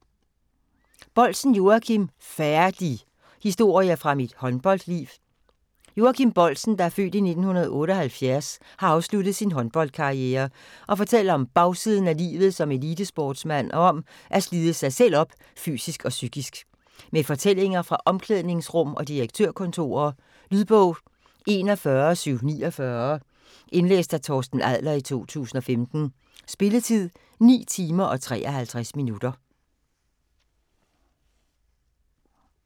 Boldsen, Joachim: Færdig!: historier fra mit håndboldliv Joachim Boldsen (f. 1978) har afsluttet sin håndboldkarriere og fortæller om bagsiden af livet som elitesportsmand og om at slide sig selv op fysisk og psykisk. Med fortællinger fra omklædningsrum og direktørkontorer. Lydbog 41749 Indlæst af Torsten Adler, 2015. Spilletid: 9 timer, 53 minutter.